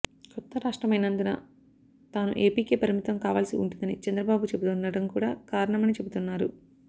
కొత్త రాష్టమైనందున తాను ఏపీకే పరిమితం కావాల్సి ఉంటుందని చంద్రబాబు చెబుతుండటం కూడా కారణమని చెబుతున్నారు